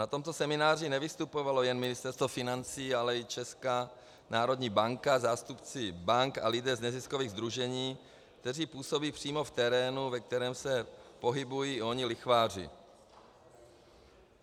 Na tomto semináři nevystupovalo jen Ministerstvo financí, ale i Česká národní banka, zástupci bank a lidé z neziskových sdružení, kteří působí přímo v terénu, ve kterém se pohybují oni lichváři.